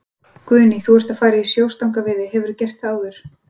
Guðný: Þú ert að fara í sjóstangaveiði, hefurðu gert þetta áður?